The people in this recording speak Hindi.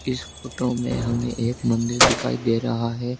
इस फोटो में हमें एक मंदिर दिखाई दे रहा है।